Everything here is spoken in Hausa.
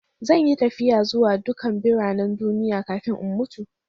Zan yi tafiya zuwa dukan biranen duniya kafin in mutu.